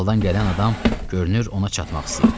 Daldan gələn adam görünür ona çatmaq istəyirdi.